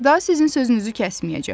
Daha sizin sözünüzü kəsməyəcəyəm.